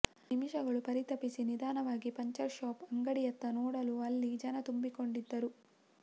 ನಿಮಿಷಗಳು ಪರಿತಪಿಸಿ ನಿಧಾನವಾಗಿ ಪಂಚರ್ ಷಾಪ್ ಅಂಗಡಿಯತ್ತ ನೋಡಲು ಅಲ್ಲಿ ಜನ ತುಂಬಿಕೊಂಡಿದ್ದರು